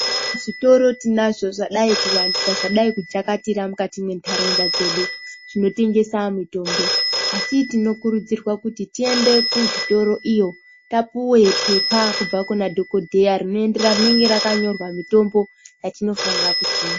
Eya zvitoro tinazvo zvadai kuvandisa zvadai kujakatira mukati mentaraunda dzedu. Zvinotengesa mitombo asi tinokurudzirwa kuti tiende kuzvitoro iyo tapuve pepa kubva kuna dhogodheya rinoenderana rinenge rakanyorwa mitombo mwatinofanira kutenga.